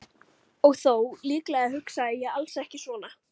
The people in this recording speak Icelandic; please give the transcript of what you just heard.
Og þó, líklega hugsaði ég alls ekki svona.